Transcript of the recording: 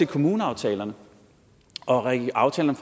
kommuneaftalerne og aftalerne